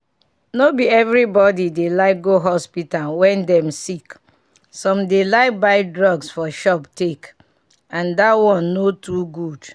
no be everybody dey like go hospital wen dem sick some dey like buy drugs for shop take and that one no too good.